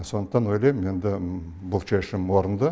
сондықтан ойлаймын енді бұл шешім орынды